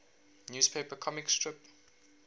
newspaper comic strip